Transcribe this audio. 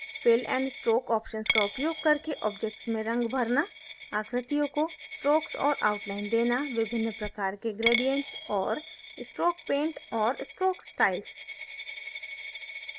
fill and stroke options का उपयोग करके objects में रंग भरना